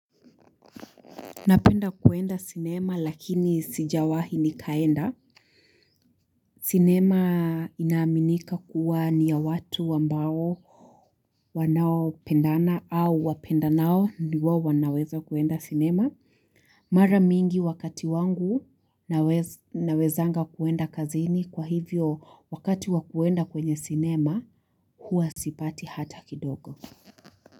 Napenda kuenda sinema lakini sijawahi nikaenda. Sinema inaaminika kuwa ni ya watu ambao wanaopendana au wapendanao ni wawanaweza kuenda sinema. Mara mingi wakati wangu nawezanga kuenda kazini kwa hivyo wakati wa kuenda kwenye sinema huwa sipati hata kidogo.